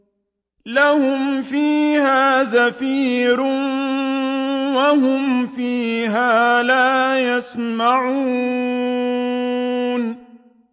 لَهُمْ فِيهَا زَفِيرٌ وَهُمْ فِيهَا لَا يَسْمَعُونَ